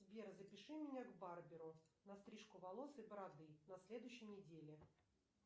сбер запиши меня к барберу на стрижку волос и бороды на следующей неделе